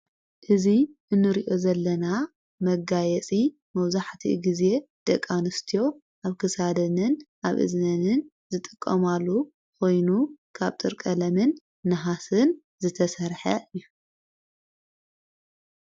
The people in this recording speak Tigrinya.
እዙይ እኑርኦ ዘለና መጋየጺ መውዙሕቲ ጊዜ ደቃንስትዮ ኣብ ክሳደንን ኣብ እዝነንን ዝጠቆማሉ ኾይኑ ካብ ጥርቀለምን ንሃስን ዝተሠርሐ እዩ።